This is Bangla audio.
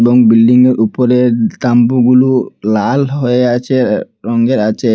এবং বিল্ডিংয়ের উপরের তাম্বু গুলু লাল হয়ে আছে রঙ্গের আছে।